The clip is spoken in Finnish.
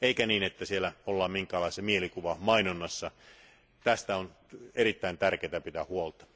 Eikä niin, että siellä ollaan minkäänlaisessa mielikuvamainonnassa, tästä on erittäin tärkeää pitää huolta.